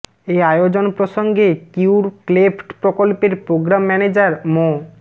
এ আয়োজন প্রসঙ্গে cure cleft প্রকল্পের প্রোগ্রাম ম্যানেজার মো